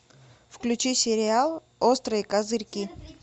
включи сериал острые козырьки